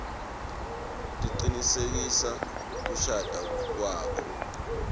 cinisekisa kushada kwakho